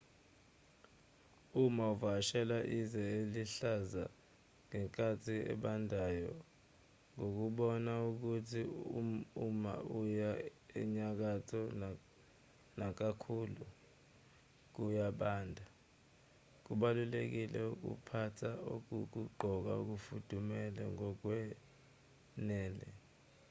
uma uvakashela izwe eliluhlaza ngenkathi ebandayo ngokubona ukuthi uma uya enyakatho nakakhulu kuya kubanda kubalulekile ukuphatha okokugqoka okufudumele ngokwanele